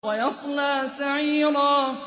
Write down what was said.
وَيَصْلَىٰ سَعِيرًا